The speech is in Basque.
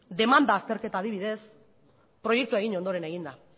demanda azterketa adibidez proiektua egin ondoren egin da